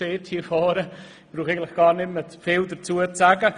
Eigentlich brauche ich nicht mehr viel dazu zu sagen.